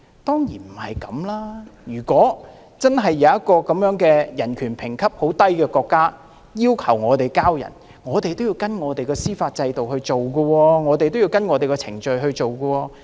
當然不是這樣，如果真的有一個人權評級很低的國家要求我們移交逃犯，也要按照香港的司法制度和程序來處理。